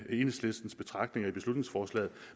i enhedslistens betragtninger i beslutningsforslaget